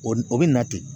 O n'o be na ten